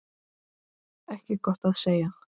Ekki gott að segja.